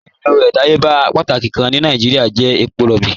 Ọ̀hun èlò ọdàyébà pátákì kàn ni Nàìjíríà jẹ̀ èpọ̀ róbí.